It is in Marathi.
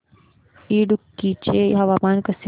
इडुक्की चे हवामान कसे आहे